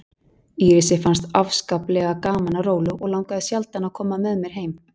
Írisi fannst afskaplega gaman á róló og langaði sjaldnast að koma með mér heim.